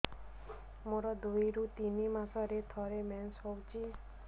ମୋର ଦୁଇରୁ ତିନି ମାସରେ ଥରେ ମେନ୍ସ ହଉଚି